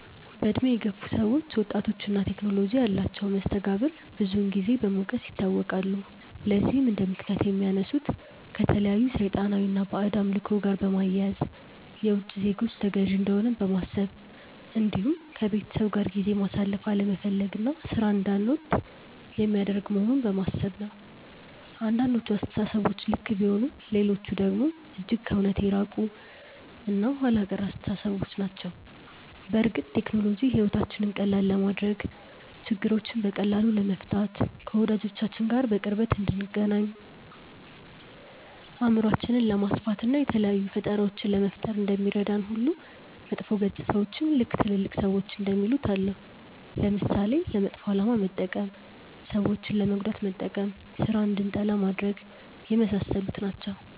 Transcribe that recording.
በእድሜ የገፉ ሰዎች ወጣቶች እና ቴክኖሎጂ ያላቸውን መስተጋብር ብዙን ጊዜ በመውቀስ ይታወቃሉ። ለዚህም እንደምክንያት የሚያነሱት ከተለያዩ ሰይጣናዊ እና ባዕድ አምልኮ ጋር በማያያዝ፣ የውቺ ዜጎች ተገዢ እንደሆንን በማሰብ እንዲሁም ከቤተሰብ ጋር ጊዜ ማሳለፍ አለመፈለግ እና ሥራን እንዳንወድ የሚያደርግ መሆኑን በማሰብ ነው። አንዳንዶቹ አስተሳሰቦች ልክ ቢሆኑም ሌሎቹ ደግሞ እጅግ ከእውነት የራቁ እና ኋላ ቀር አስተሳሰቦች ናቸው። በእርግጥ ቴክኖሎጂ ሕይወታችንን ቀላል ለማድረግ፣ ችግሮችን በቀላሉ ለመፍታት፣ ከወዳጆቻችን ጋር በቅርበት እንድንገናኝ፣ አእምሯችንን ለማስፋት፣ እና የተለያዩ ፈጠራዎችን ለመፍጠር እንደሚረዳን ሁሉ መጥፎ ገፅታዎችም ልክ ትልልቅ ሰዎች እንደሚሉት አለው። ለምሳሌ፦ ለመጥፎ አላማ መጠቀም፣ ሰዎችን ለመጉዳት መጠቀም፣ ስራን እንድንጠላ ማድረግ፣ የመሳሰሉት ናቸው።